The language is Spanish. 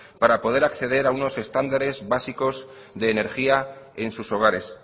para poder acceder a unos estándares básicos de energía en sus hogares